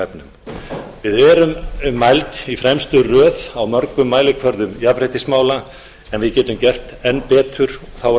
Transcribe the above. efnum við erum mæld í fremstu röð á mörgum mælikvörðum jafnréttismála en við getum gert enn betur þá er það